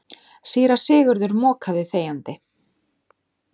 Síra Sigurður mokaði þegjandi.